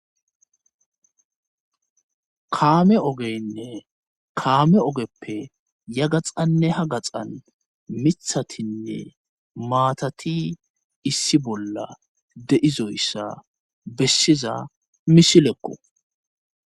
kaame ogeynne kaame ogeppe ya gaxanne ha gaxan mithatinne maatati issi bolla de7izoyssa bessiza misilekko